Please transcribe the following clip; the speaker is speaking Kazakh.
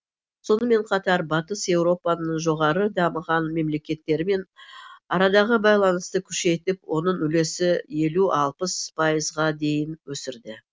сонымен қатар батыс еуропаның жоғары дамыған мемлекеттерімен арадағы байланысты күшейтіп оның үлесі елу алпыс пайызға дейін өсірді